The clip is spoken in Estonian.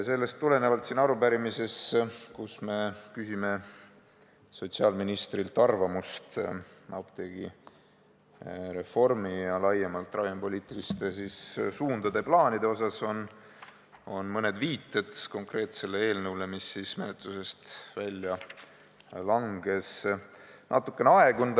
Sellest tulenevalt siin arupärimises, kus me küsime sotsiaalministrilt arvamust apteegireformi ja laiemalt ravimipoliitiliste suundade ja plaanide kohta, on mõned viited konkreetsele eelnõule, mis menetlusest välja langes, natuke aegunud.